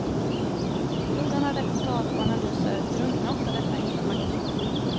I floden av reportage och analyser drunknar ofta detta enkla faktum.